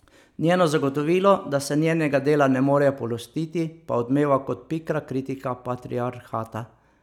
Njeno zagotovilo, da se njenega dela ne morejo polastiti, pa odmeva kot pikra kritika patriarhata.